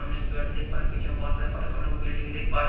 सामने एक बेड देख पा रहे हैं पीछे में बहुत सारे बिल्डिंग देख पा रहे हैं।